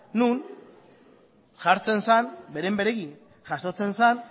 non jartzen zen beren beregi jasotzen zen